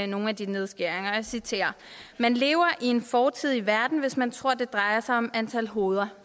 nogle af de nedskæringer og jeg citerer man lever i en fortidig verden hvis man tror at det drejer sig om antal hoveder